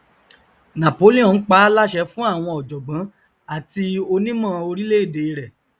napoleon paá láṣẹ fún àwọn ọjọgbọn àti onímọ orílẹèdè rẹ